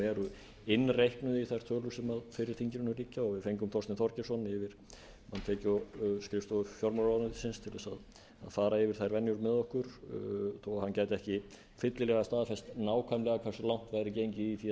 eru innreiknuð í þær tölur sem fyrir þinginu liggja og við fengum þorstein þorgeirsson yfirmann tekjuskrifstofu fjármálamálaráðuneytisins til þess að fara yfir þær venjur með okkur þó hann gæti ekki fyllilega staðfest nákvæmlega hversu langt væri gengið í því